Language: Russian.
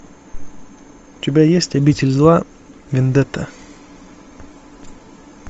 у тебя есть обитель зла вендетта